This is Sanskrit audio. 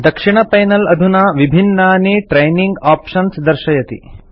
दक्षिणपैनल अधुना विभिन्नानि ट्रेनिंग आप्शन्स् दर्शयति